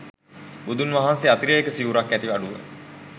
බුදුන් වහන්සේ අතිරේක සිවුරක් නැති අඩුව